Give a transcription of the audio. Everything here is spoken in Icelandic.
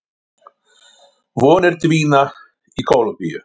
Vonir dvína í Kólumbíu